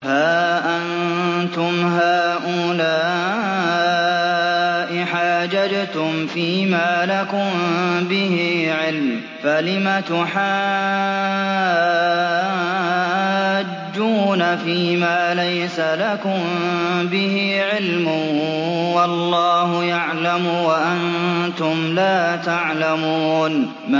هَا أَنتُمْ هَٰؤُلَاءِ حَاجَجْتُمْ فِيمَا لَكُم بِهِ عِلْمٌ فَلِمَ تُحَاجُّونَ فِيمَا لَيْسَ لَكُم بِهِ عِلْمٌ ۚ وَاللَّهُ يَعْلَمُ وَأَنتُمْ لَا تَعْلَمُونَ